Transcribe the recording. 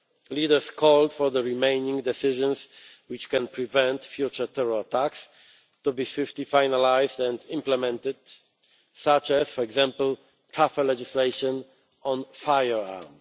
Leaders called for the remaining decisions which can prevent future terror attacks to be swiftly finalised and implemented, such as, for example, tougher legislation on firearms.